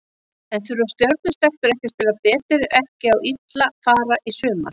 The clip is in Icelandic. En þurfa Stjörnu stelpur ekki að spila betur ef ekki á illa fara í sumar?